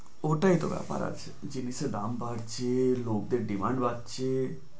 ওটাই তো ব্যাপার আছে জিনিসের দাম বাড়ছে লোকদের demand বাড়ছে।